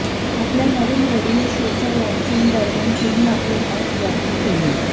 आपल्या नवीन रेडीओ शोच्या लाँचिंग दरम्यान तीनं आपले मत व्यक्त केलं